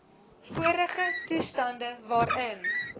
vorige toestand waarin